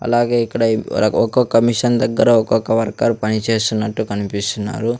అలాగే ఇక్కడ ఇవ్ ర ఒక్కోక్క మిషన్ దగ్గర ఒక్కొక్క వర్కర్ పని చేస్తున్నట్టు కనిపిస్తున్నారు.